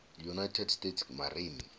united states marine